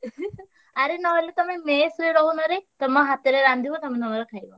ଆରେ ନହେଲେ ତମେ mess ରେ ରହୁନରେ। ତମ ହାତରେ ରାନ୍ଧିବ ତମେ ତମର ଖାଇବ।